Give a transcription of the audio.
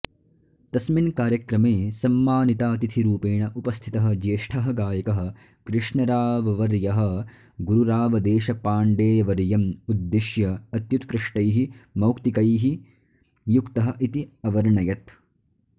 तस्मिन् कार्यक्रमे सम्मानितातिथिरूपेण उपस्थितः ज्येष्ठः गायकः कृष्णराववर्यः गुरुरावदेशपाण्डेवर्यम् उद्दिश्य अत्युत्कृष्टैः मौक्तिकैः युक्तः इति अवर्णयत्